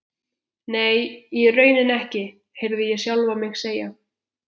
Nei, í rauninni ekki, heyrði ég sjálfan mig segja.